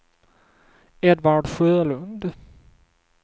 Edvard Sjölund